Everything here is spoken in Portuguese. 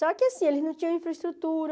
Só que assim, eles não tinham infraestrutura.